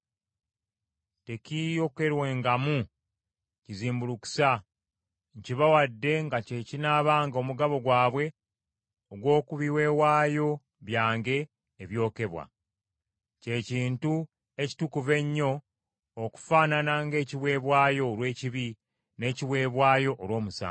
Tekiiyokerwengamu kizimbulukusa. Nkibawadde nga kye kinaabanga omugabo gwabwe ogw’oku biweebwayo byange ebyokebwa, kye kintu ekitukuvu ennyo okufaanana ng’ekiweebwayo olw’ekibi n’ekiweebwayo olw’omusango.